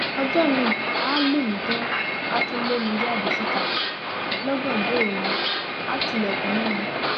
ọjọ miín àá lù mí tán àá tún lé mi jáde síta lọgànjọ òru àá tilẹkùn mọ mi